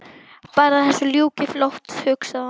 Bara að þessu ljúki fljótt hugsaði hún.